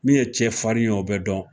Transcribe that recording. Min ye cɛ farin ye o bɛ dɔn